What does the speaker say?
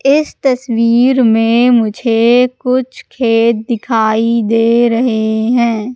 इस तस्वीर में मुझे कुछ खेत दिखाई दे रहे हैं।